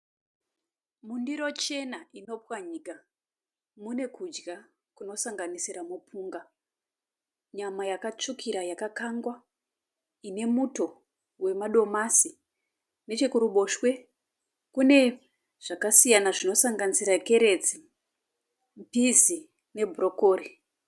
Mundiro chena inopwanyika. Mune kudya kunosanganisira mupunga, nyama yakatsvukira yakakangwa ine muto wemadomasi. Nechekuruboshwe kune zvakasiyana zvinosanganisira kerotsi, pizi ne bhurokori.